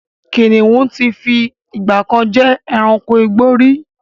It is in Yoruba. Kínníun tí fi ìgbàkan jẹ́ ẹranko igbó rí